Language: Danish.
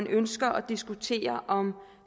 ønsker at diskutere om